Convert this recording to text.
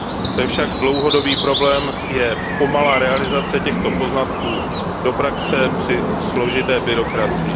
Co je však dlouhodobý problém, je pomalá realizace těchto poznatků v praxi při složité byrokracii.